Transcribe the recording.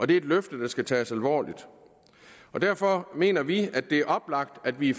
det er et løfte der skal tages alvorligt derfor mener vi at det er oplagt at vi